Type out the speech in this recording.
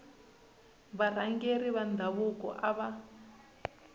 varhangeri va ndhavuko a va